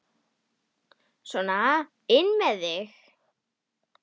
Sona inn með þig!